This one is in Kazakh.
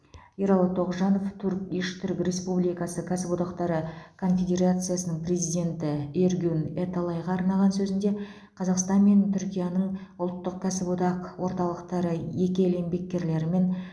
ералы тоғжанов турк иш түрік республикасы кәсіподақтары конфедерациясының президенті эргюн эталайға арнаған сөзінде қазақстан мен түркияның ұлттық кәсіподақ орталықтары екі ел еңбеккерлерімен